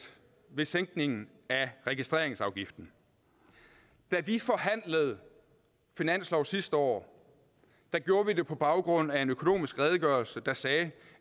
ved sænkningen af registreringsafgiften da vi forhandlede finansloven sidste år gjorde vi det på baggrund af en økonomisk redegørelse der sagde